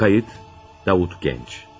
Səs yazma: Davut Gənc.